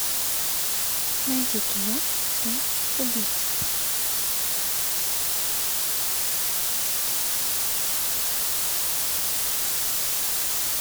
найди кино м убийца